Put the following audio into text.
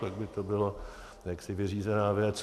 Pak by to byla jaksi vyřízená věc.